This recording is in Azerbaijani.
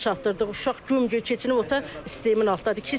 Güclə çatdırdıq uşaq güm-gücü keçinib sistemin altındadır.